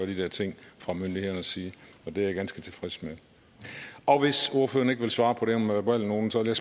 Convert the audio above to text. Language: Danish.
de der ting fra myndighedernes side og det er jeg ganske tilfreds med og hvis ordføreren ikke vil svare på det her med verbalnoten så vil